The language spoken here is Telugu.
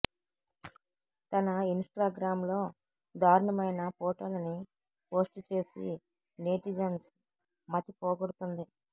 తన ఇన్ స్టాగ్రామ్ లో దారుణమైన ఫోటోలని పోస్ట్ చేసి నేతిజన్స్ మతి పోగొడుతుంది